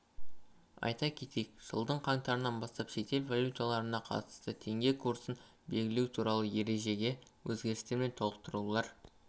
айта кетейік жылдың қаңтарынан бастап шетел валюталарына қатысты теңге курсын белгілеу туралы ережеге өзгерістер мен толықтырулар